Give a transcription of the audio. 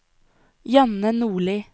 Janne Nordli